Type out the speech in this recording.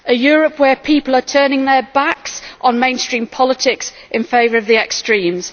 a Europe where people are turning their backs on mainstream politics in favour of the extremes.